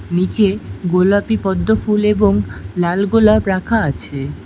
নীচে গোলাপি পদ্ম ফুল এবং লাল গোলাপ রাখা আছে।